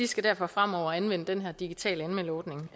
skal derfor fremover anvende den her digitale anmeldeordning